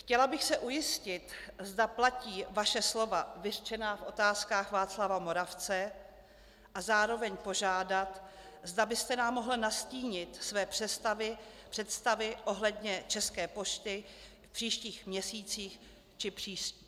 Chtěla bych se ujistit, zda platí vaše slova vyřčená v Otázkách Václava Moravce, a zároveň požádat, zda byste nám mohl nastínit své představy ohledně České pošty v příštích měsících či